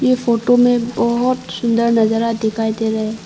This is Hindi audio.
इस फोटो में बहोत सुंदर नजारा दिखाई दे रहा है।